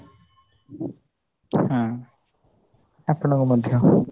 ହଁ ଆପଣଙ୍କୁ ମଧ୍ୟ